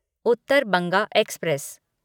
Uttar Banga express